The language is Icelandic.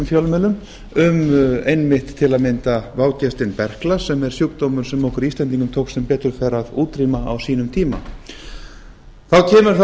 fjölmiðlum um einmitt til að mynda vágestinn berkla sem er sjúkdómur sem okkur íslendingum tókst sem betur fer að útrýma á sínum koma þá kemur það